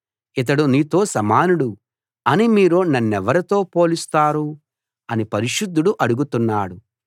ఇతడు నీతో సమానుడు అని మీరు నన్నెవరితో పోలుస్తారు అని పరిశుద్ధుడు అడుగుతున్నాడు